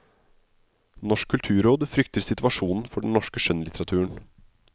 Norsk kulturråd frykter situasjonen for den norske skjønnlitteraturen.